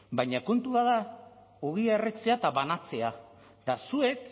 baina kontua da ogia erretzea eta banatzea eta zuek